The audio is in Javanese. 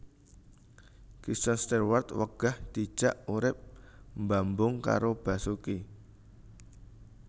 Kristen Stewart wegah dijak urip mbambung karo Basuki